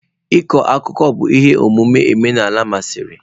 Ịkọ akụkọ bụ ihe omume omenala masịrị.